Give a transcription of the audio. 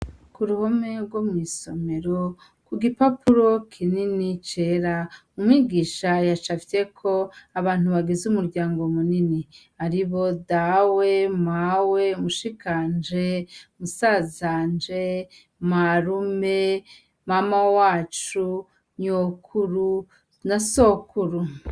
Ku ruhome rwo mw'isomero ku gipapuro kinini cera umwigisha yacafyeko abantu bagize umuryango munini ari bo dawe mawe mushikanje musazanje marume mama wacu nyokuru na sokuru.